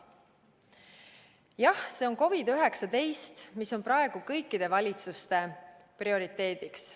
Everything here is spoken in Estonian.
Jah, see on COVID-19, mis on praegu kõikide valitsuste prioriteet.